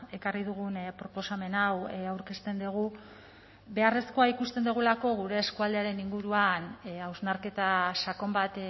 ekarri dugun proposamen hau aurkezten dugu beharrezkoa ikusten dugulako gure eskualdearen inguruan hausnarketa sakon bat